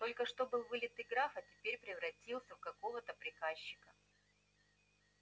только что был вылитый граф а теперь превратился в какого-то приказчика